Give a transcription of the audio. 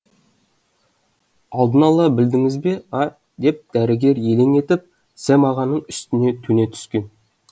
алдын ала білдіңіз бе а деп дәрігер елең етіп сэм ағаның үстіне төне түскен